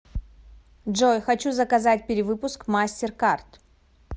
джой хочу заказать перевыпуск мастер карт